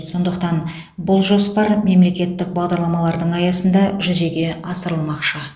сондықтан бұл жоспар мемлекеттік бағдарламалардың аясында жүзеге асырылмақшы